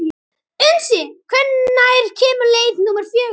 Unnsi, hvenær kemur leið númer fjögur?